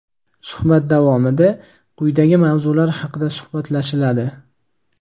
Suhbat davomida quyidagi mavzular haqida suhbatlashiladi:.